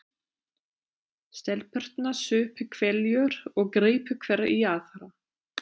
Stelpurnar supu hveljur og gripu hver í aðra.